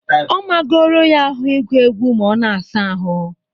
Ọ magoro ya ahụ ịgụ egwu ma ọ na-asa ahụ